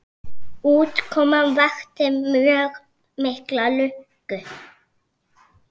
Útkoman vakti mjög mikla lukku.